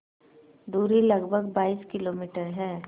दूरी लगभग बाईस किलोमीटर है